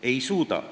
Ei suuda.